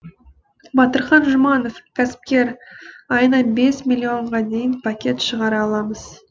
батырхан жұманов кәсіпкер айына бес миллионға дейін пакет шығара аламыз